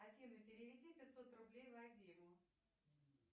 афина переведи пятьсот рублей вадиму